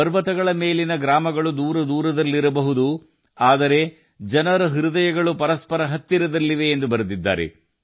ಪರ್ವತಗಳ ಮೇಲಿನ ನಿವಾಸವಸಾಹತುಗಳು ದೂರದೂರದಲ್ಲಿರಬಹುದು ಆದರೆ ಜನರ ಹೃದಯಗಳು ಪರಸ್ಪರ ಹತ್ತಿರದಲ್ಲಿವೆ ಎಂದು ಅವರು ಬರೆದಿದ್ದಾರೆ